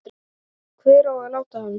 Hvar á að láta hann?